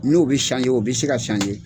N'o bɛ o bɛ se ka